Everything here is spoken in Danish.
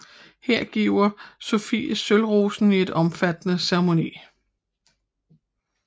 He giver Sofie sølvrosen i en omfattende ceremoni